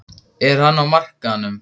Er hann á markaðnum?